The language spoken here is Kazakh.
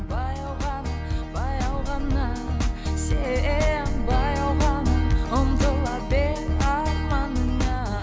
баяу ғана баяу ғана сен баяу ғана ұмтыла бер арманыңа